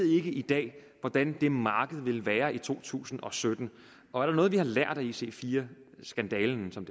i dag ved hvordan det marked vil være i to tusind og sytten og er der noget vi har lært af ic4 skandalen som